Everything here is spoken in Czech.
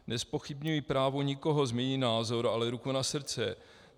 Nezpochybňuji právo nikoho změnit názor, ale ruku na srdce.